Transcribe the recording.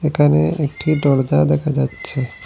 একানে একটি দরজা দেখা যাচ্ছে।